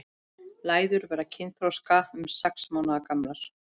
Læður verða kynþroska um sex mánaða gamlar.